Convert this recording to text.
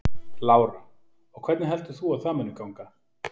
Lára: Og hvernig heldur þú að það muni ganga?